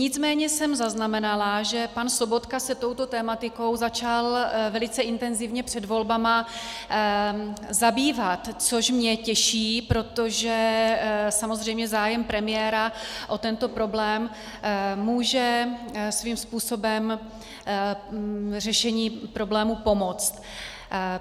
Nicméně jsem zaznamenala, že pan Sobotka se touto tematikou začal velice intenzivně před volbami zabývat, což mě těší, protože samozřejmě zájem premiéra o tento problém může svým způsobem řešení problému pomoct.